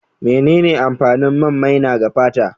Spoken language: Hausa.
Menene amfanin man maina ga fata?